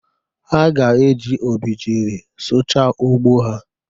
Ha ga-eji obejiri sụchaa ugbo ha.